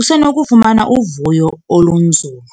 usenokufumana uvuyo olunzulu.